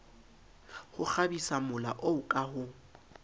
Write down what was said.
ho kgabisamola oo ka ho